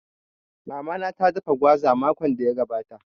Mama na ta dafa gwaza makon da ya gabata